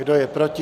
Kdo je proti?